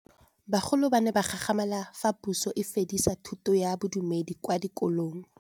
Bagolo ba ne ba gakgamala fa Pusô e fedisa thutô ya Bodumedi kwa dikolong.